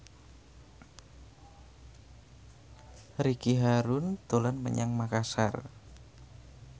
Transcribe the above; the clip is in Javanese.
Ricky Harun dolan menyang Makasar